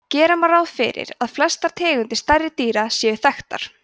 gera má ráð fyrir að flestar tegundir stærri dýra séu þekktar